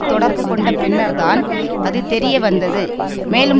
தொடர்பு கொண்ட பின்னர்தான் அது தெரியவந்தது மேலும்